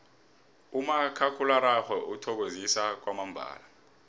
umakhakhulararhwe uthokozisa kwamambala